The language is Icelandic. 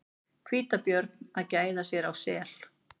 Hvítabjörn að gæða sér á sel.